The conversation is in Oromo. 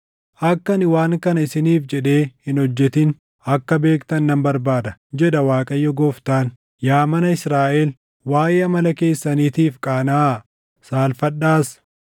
Akka ani waan kana isiniif jedhee hin hojjetin akka beektan nan barbaada, jedha Waaqayyo Gooftaan. Yaa mana Israaʼel, waaʼee amala keessaniitiif qaanaʼaa; saalfadhaas!